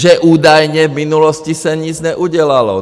Že údajně v minulosti se nic neudělalo.